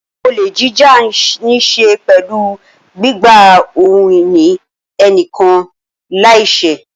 Olè jíjà ní í ṣe pẹ̀lú gbígba ohun ìní ẹnìkan láìṣẹ́.